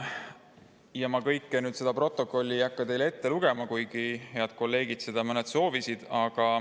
Kogu protokolli ma teile ette lugema ei hakka, kuigi mõned head kolleegid seda soovisid.